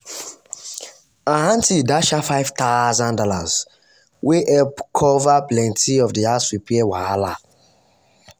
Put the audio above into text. her aunty dash her five thousand dollars wey help cover plenty of the house repair wahala.